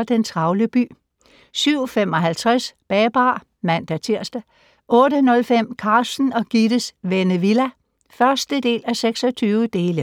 07:45: Den travle by 07:55: Babar (man-tir) 08:05: Carsten og Gittes Vennevilla (1:26)